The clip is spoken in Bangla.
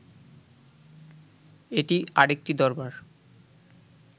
এটি আর একটি দরবার